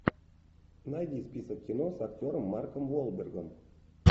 найди список кино с актером марком уолбергом